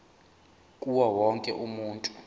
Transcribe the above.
kuwo wonke umuntu